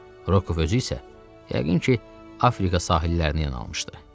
Rokov özü isə, yəqin ki, Afrika sahillərinə yanaşmışdı.